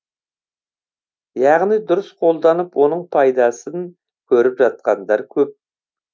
яғни дұрыс қолданып оның пайдасын көріп жатқандар көп